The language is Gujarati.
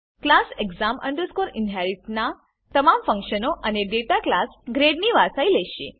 ક્લાસ exam inherit નાં તમામ ફંક્શનો અને ડેટા ક્લાસ ગ્રેડ ની વારસાઈ લેશે